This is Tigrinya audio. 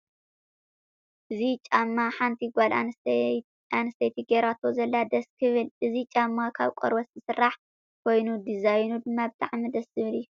እዚ ጫማ ሓንቲ ጓል ኣነስተይቲ ገይራቶ ዘላ ደስ ክብል። እዚ ጫማ ካብ ቆርበት ዝስራሕ ኮይኑ ደዛይኑ ድማ ብጣዕሚ ደስ ዝብል እዩ።